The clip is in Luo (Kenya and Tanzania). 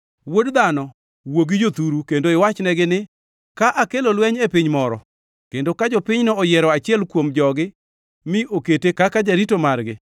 “Wuod dhano, wuo gi jothuru kendo iwachnegi ni, ‘Ka akelo lweny e piny moro, kendo ka jopinyno oyiero achiel kuom jogi mi okete kaka jarito margi,